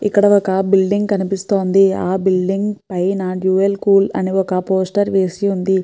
ఇక్కడ ఒక బిల్డింగ్ కనిపిస్తుంది ఆ బిల్డింగ్ పైన డ్యుయల్ కూల్ అని ఒక పోస్టర్ వేసి ఉంది.